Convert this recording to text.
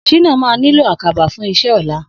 Shina mà niló àkábá fùn iṣẹ̀ ọlá